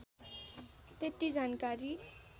त्यति जानकारी